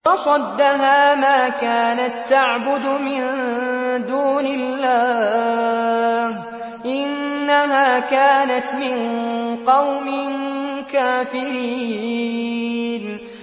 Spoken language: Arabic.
وَصَدَّهَا مَا كَانَت تَّعْبُدُ مِن دُونِ اللَّهِ ۖ إِنَّهَا كَانَتْ مِن قَوْمٍ كَافِرِينَ